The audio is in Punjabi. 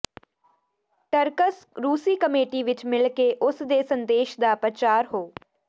ਟਰ੍ਕ੍ਚ ਰੂਸੀ ਕਮੇਟੀ ਵਿਚ ਮਿਲ ਕੇ ਉਸ ਦੇ ਸੰਦੇਸ਼ ਦਾ ਪ੍ਰਚਾਰ ਹੋ